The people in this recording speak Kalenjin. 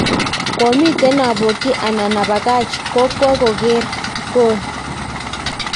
komitten abokyi anan abakach kokwa koker gol."